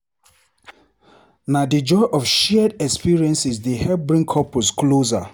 Na di joy of shared experiences dey help bring couples closer.